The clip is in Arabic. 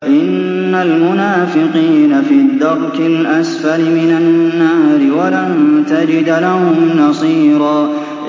إِنَّ الْمُنَافِقِينَ فِي الدَّرْكِ الْأَسْفَلِ مِنَ النَّارِ وَلَن تَجِدَ لَهُمْ نَصِيرًا